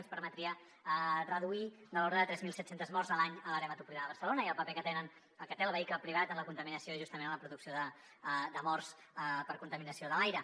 ens permetria reduir de l’ordre de tres mil set cents morts a l’any a l’àrea metropolitana de barcelona i el paper que té el vehicle privat en la contaminació justament en la producció de morts per contaminació de l’aire